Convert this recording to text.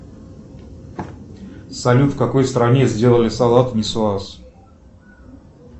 салют в какой стране сделали салат нисуаз